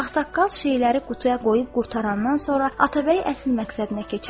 Ağsaqqal şeyləri qutuya qoyub qurtarandan sonra Atabəy əsl məqsədinə keçərək.